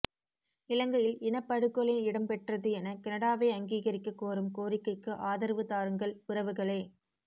இலங்கையில் இனப்படுகொலை இடம்பெற்றது என கனடாவை அங்கீகரிக்க கோரும் கோரிக்கைக்கு ஆதரவு தாருங்கள் உறவுகளே